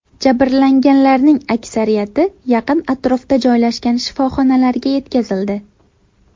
Jabrlanganlarning aksariyati yaqin atrofda joylashgan shifoxonalarga yetkazildi.